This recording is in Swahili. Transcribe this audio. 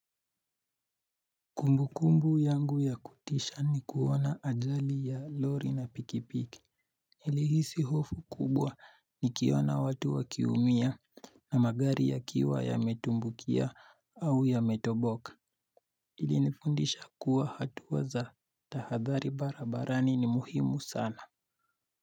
Kumbukumbu yangu ya kutisha ni kuona ajali ya lori na pikipiki nilihisi hofu kubwa nikiona watu wakiumia na magari yakiwa yametumbukia au yametoboka ilinifundisha kuwa hatua za tahadhari barabarani ni muhimu sana.